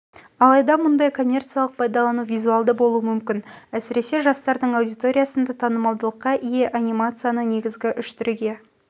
алайда мұндай коммерциялық пайдалану визуалды болуы мүмкін әсіресе жастардың аудиториясында танымалдылыққа ие анимацияны негізгі үш түріге